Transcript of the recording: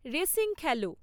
racing Khelo